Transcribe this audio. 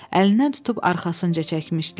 Əlindən tutub arxasınca çəkmişdilər.